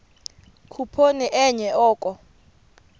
khuphoni enye oko